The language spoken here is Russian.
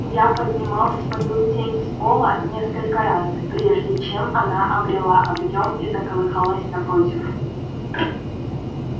я поднимал свою тень с пола несколько раз прежде чем она обрела объём и заколыхалась напротив